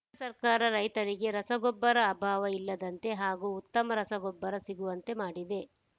ಕೇಂದ್ರ ಸರ್ಕಾರ ರೈತರಿಗೆ ರಸಗೊಬ್ಬರ ಅಭಾವ ಇಲ್ಲದಂತೆ ಹಾಗೂ ಉತ್ತಮ ರಸಗೊಬ್ಬರ ಸಿಗುವಂತೆ ಮಾಡಿದೆ